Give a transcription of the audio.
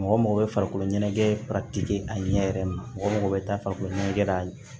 Mɔgɔ mago bɛ farikolo ɲɛnajɛ a ɲɛ yɛrɛ ma mɔgɔ bɛ taa farikolo ɲɛnajɛ kɛ a ye